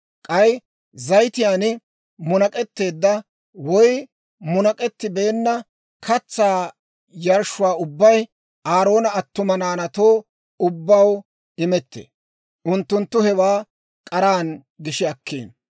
K'ay zayitiyaan munak'etteedda woy munak'ettibeenna katsaa yarshshuwaa ubbay Aaroona attuma naanaatoo ubbaw imettee; unttunttu hewaa k'aran gishi akkino.